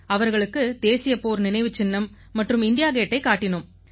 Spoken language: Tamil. அவர்களுக்கு தேசிய போர் நினைவுச் சின்னம் மற்றும் இண்டியா கேட்டைக் காட்டினோம்